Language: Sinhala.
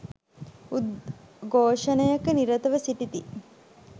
උද්ඝෝෂණයක නිරතව සිටිති